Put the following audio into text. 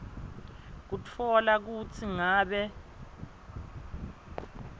kutfola kutsi ngabe